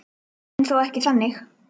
En þó ekki þannig.